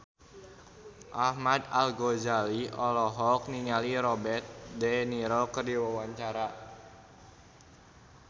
Ahmad Al-Ghazali olohok ningali Robert de Niro keur diwawancara